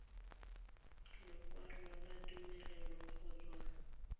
lekwalo la tumelelo go tswa